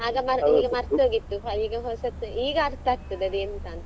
ಆಗ ಮರ್ತೊಗಿತ್ತು ಈಗ ಹೊಸತ್ತು ಈಗ ಅರ್ತ ಆಗ್ತದೆ ಅದು ಎಂತ ಅಂತ.